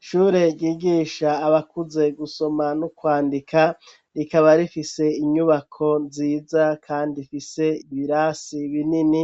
Ishure ryigisha abakuze gusoma no kwandika ,rikaba rifise inyubako nziza kandi ifise ibirasi binini